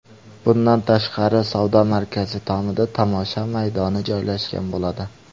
Bundan tashqari, savdo markazi tomida tomosha maydoni joylashgan bo‘ladi.